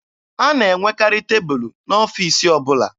A na-enwekarị tebụlụ n'ọfiisi ọbụla.